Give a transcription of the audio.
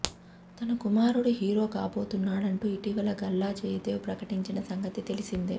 తన కుమారుడు హీరో కాబోతున్నాడంటూ ఇటీవల గల్లా జయదేవ్ ప్రకటించిన సంగతి తెలిసిందే